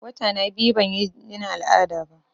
Wata na biyu ban yi jinin al'ada ba